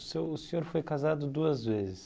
O seu o senhor foi casado duas vezes.